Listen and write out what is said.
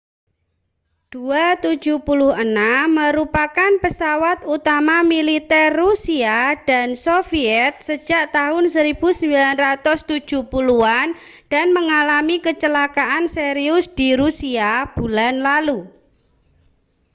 il-76 merupakan pesawat utama militer rusia dan soviet sejak tahun 1970-an dan mengalami kecelakaan serius di rusia bulan lalu